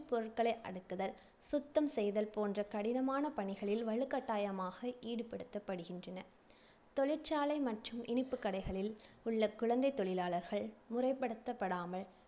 பொருட்களை அடுக்குதல், சுத்தம் செய்தல் போன்ற கடினமான பணிகளில் வலுக்கட்டாயமாக ஈடுபடுத்தப்படுகின்றனர். தொழிற்சாலை மற்றும் இனிப்புகடைகளில் உள்ள குழந்தைத் தொழிலாளர்கள் முறைப்படுத்தப்படாமல்,